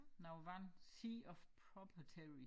Noget vand Sea of Property